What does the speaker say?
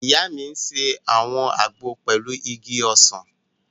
Ìyá mi n ṣe àwọn àgbo pẹ̀lú igi ọsàn